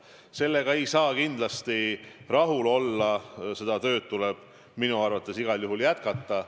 Sellega ei saa kindlasti rahul olla, seda tööd tuleb minu arvates igal juhul jätkata.